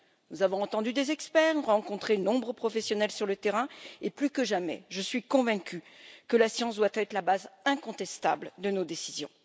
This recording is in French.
Nous avons entendu des experts, nous avons rencontré de nombreux professionnels sur le terrain et, plus que jamais, je suis convaincue que la science doit être la base incontestable de nos décisions.